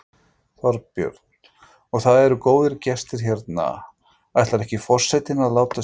Þorbjörn: Og það eru góðir gestir hérna, ætlar ekki forsetinn að láta sjá sig?